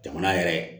Jamana yɛrɛ